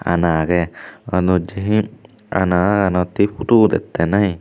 ana agey aloddihi ana anahanot hee phutu udette nahi.